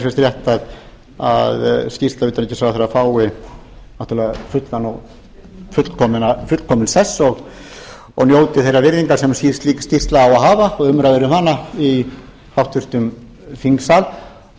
finnst rétt að skýrsla utanríkisráðherra fái fullkominn sess og njóti þeirrar virðingar sem slík skýrsla á að hafa og umræður um hana í háttvirtri þingsal